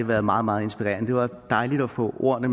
været meget meget inspirerende det var dejligt at få ordene